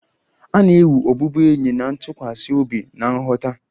A na-ewu ọbụbụenyi na ntụkwasị obi na nghọta.